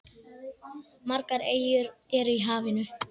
Margar eyjar eru í hafinu.